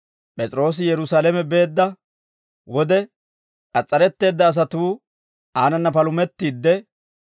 P'es'iroosi Yerusaalame beedda wode, k'as's'aretteedda asatuu aanana palumettiidde,